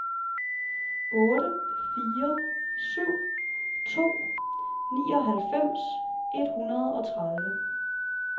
otte fire syv to nioghalvfems et hundrede og tredive